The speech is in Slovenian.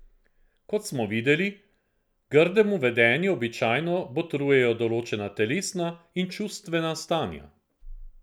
Kot smo videli, grdemu vedenju običajno botrujejo določena telesna in čustvena stanja.